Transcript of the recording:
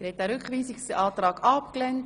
Sie haben den Rückweisungsantrag abgelehnt.